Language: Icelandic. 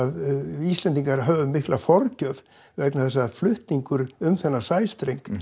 við Íslendingar höfum mikla forgjöf vegna þess að flutningur um þennan sæstreng